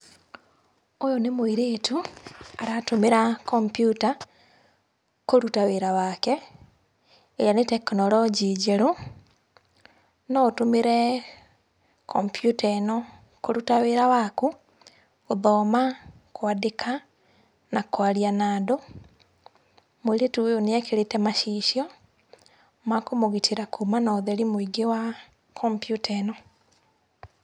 Ũyũ nĩ mũirĩtu aratũmĩra computer kũruta wĩra wake, ĩrĩa nĩ tekinoronjĩ njerũ. No ũtũmĩre kompiuta ĩno kũruta wĩra waku, gũthoma, kwandika na kwaria na andũ. Mũirĩtu ũyũ nĩ ekĩrĩte macicio ma kũmũgitĩra kumana na ũtheri wa kompiuta ĩno.